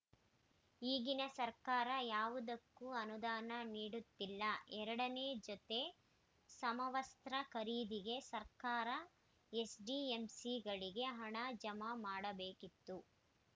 ಈಗಿನ ಸರ್ಕಾರ ಯಾವುದಕ್ಕೂ ಅನುದಾನ ನೀಡುತ್ತಿಲ್ಲ ಎರಡನೇ ಜೊತೆ ಸಮವಸ್ತ್ರ ಖರೀದಿಗೆ ಸರ್ಕಾರ ಎಸ್‌ಡಿಎಂಸಿಗಳಿಗೆ ಹಣ ಜಮಾ ಮಾಡಬೇಕಿತ್ತು